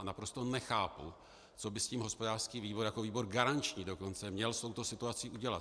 A naprosto nechápu, co by s tím hospodářský výbor jako výbor garanční dokonce měl s touto situací udělat.